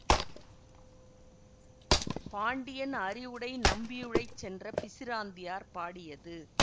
பாண்டியன் அறிவுடை நம்பியுழைச் சென்ற பிசிராந்தையார் பாடியது